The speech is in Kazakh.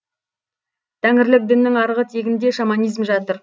тәңірлік діннің арғы тегінде шаманизм жатыр